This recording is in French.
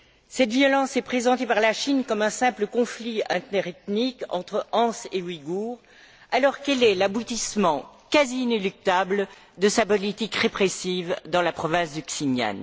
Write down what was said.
Cette violence est présentée par la Chine comme un simple conflit interethnique entre Hans et Ouïghours, alors qu'elle est l'aboutissement quasi inéluctable de sa politique répressive dans la province du Xinjiang.